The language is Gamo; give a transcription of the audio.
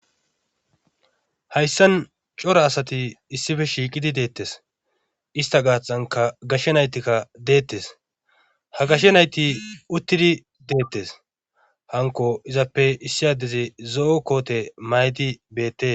Hayssan cora asati issife shiiqidi deettes ista gaaxanka gashshe naytikka deettes ha gashshe nayti uttidi deettes hanko izappe issi addezi zo'o koote maydi beette